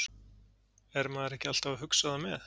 Er maður ekki alltaf að hugsa það með?